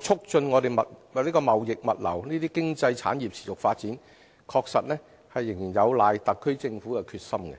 促進貿易物流這些經濟產業持續發展，確實仍有賴特區政府的決心。